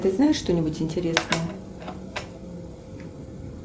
ты знаешь что нибудь интересное